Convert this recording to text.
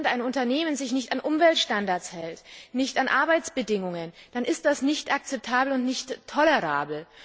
Wenn sich ein Unternehmen nicht an Umweltstandards hält, nicht an Arbeitsbedingungen, dann ist das nicht akzeptabel und nicht tolerabel.